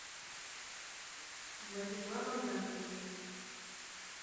владиславом раковым